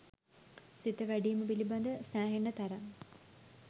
සිත වැඩීම පිළිබඳ සෑහෙන තරම්